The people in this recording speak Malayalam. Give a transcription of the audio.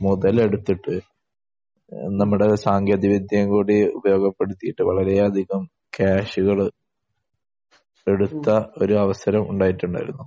മുതലെടുത്തിട്ട് നമ്മുടെ സാങ്കേതികവിദ്യയും കൂടി ഉപയോഗപ്പെടുത്തിയിട്ട് വളരെയധികം ക്യാഷുകൾ എടുത്ത ഒരു അവസരം ഉണ്ടായിട്ടുണ്ടായിരുന്നു